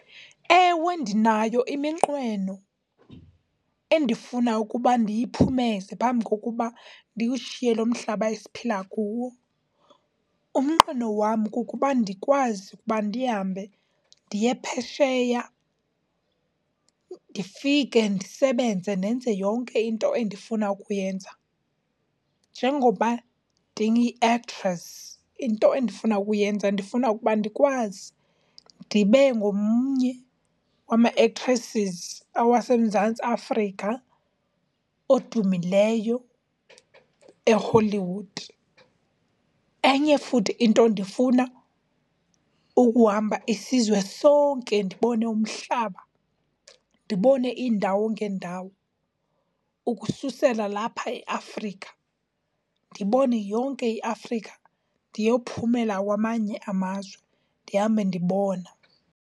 Ewe ndinayo iminqweno endifuna ukuba ndiyiphumeze phambi kokuba ndiwushiye lo mhlaba esiphila kuwo. Umnqweno wam kukuba ndikwazi ukuba ndihambe ndiye phesheya ndifike ndisebenze ndenze yonke into endifuna ukuyenza. Njengoba ndiyi-actress into endifuna ukuyenza ndifuna ukuba ndikwazi ndibe ngomnye wama-actresses awaseMzantsi Afrika odumileyo eHollywood. Enye futhi into, ndifuna ukuhamba isizwe sonke ndibone umhlaba, ndibone iindawo ngeendawo ukususela lapha eAfrika, ndibone yonke iAfrika ndiyophumela kwamanye amazwe, ndihambe ndibona.